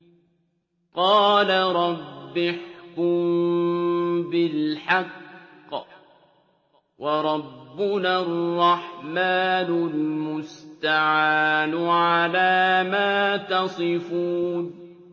قَالَ رَبِّ احْكُم بِالْحَقِّ ۗ وَرَبُّنَا الرَّحْمَٰنُ الْمُسْتَعَانُ عَلَىٰ مَا تَصِفُونَ